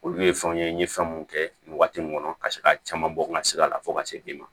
Olu ye fɛnw ye n ye fɛn mun kɛ nin waati nin kɔnɔ ka se ka caman bɔ n ka sigida la fo ka se den ma